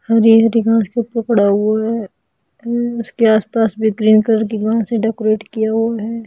हरी हरी घास के ऊपर पड़ा हुआ है उसके आसपास भी ग्रीन कलर की घास से डेकोरेट किया हुआ है।